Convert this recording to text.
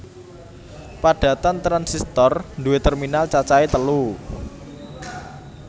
Padatan transistor nduwé terminal cacahe telu